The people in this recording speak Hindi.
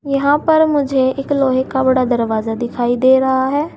यहां पर मुझे एक लोहे का बड़ा दरवाजा दिखाई दे रहा है।